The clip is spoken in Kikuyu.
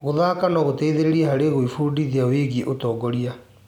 Gũthaka no gũteithie harĩ gwĩbundithia wĩgiĩ ũtongoria.